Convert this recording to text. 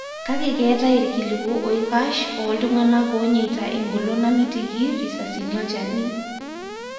Kake ketae ikiliku oikash o ltunganak onyeita engolon namitiki risasini wolchani.